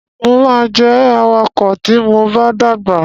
Mo ma jẹ awakọ ti mo ba dàgbà.